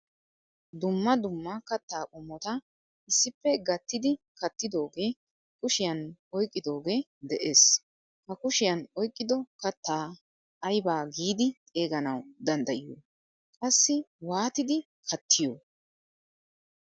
Dumma dumma katta qommotta issippe gattidi kattidoge kushiyan oyqqidoge de'ees. Ha kushiyan oyqqido katta ayba giidi xeeganawu danddyiyo? Qassi waatttidi kattiyoo?